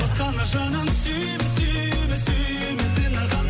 басқаны жаным сүйме сүйме сүйме сені ғана